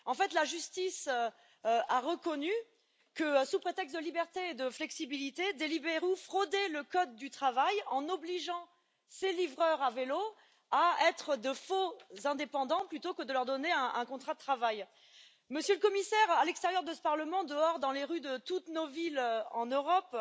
En fait, la justice a reconnu que, sous prétexte de liberté et de flexibilité, Deliveroo fraudait le code du travail, en obligeant ses livreurs à vélo à être de faux indépendants plutôt que de leur donner un contrat de travail. Monsieur le Commissaire, à l'extérieur de ce Parlement, dehors, dans les rues de toutes nos villes en Europe,